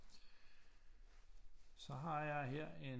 Så har jeg her